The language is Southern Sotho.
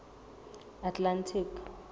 atlantic